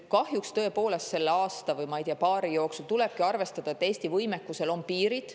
Kahjuks selle aasta või, ma ei tea, paari jooksul tulebki arvestada, et Eesti võimekusel on piirid.